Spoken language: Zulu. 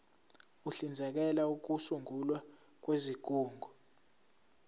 uhlinzekela ukusungulwa kwezigungu